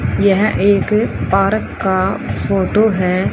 यह एक औरत अ फोटो है।